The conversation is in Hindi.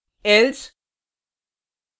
else